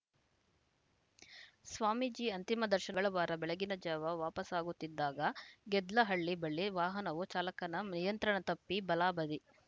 ಸ್ವಾಮೀಜಿ ಅಂತಿಮ ದರ್ಶಗಳವಾರ ಬೆಳಗಿನ ಜಾವ ವಾಪಸಾಗುತ್ತಿದ್ದಾಗ ಗೆದ್ಲೆಹಳ್ಲಿ ಬಳಿ ವಾಹನವು ಚಾಲಕನ ನಿಯಂತ್ರಣ ತಪ್ಪಿ ಬಲ ಬದಿ